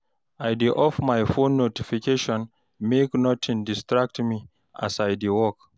I dey off my phone notification make notin distract me as I dey work